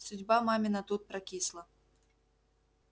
судьба мамина тут прокисла